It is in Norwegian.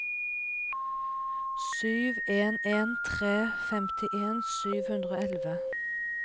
sju en en tre femtien sju hundre og elleve